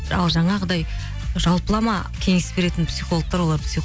ал жаңағыдай жалпылама кеңес беретін психологтар олар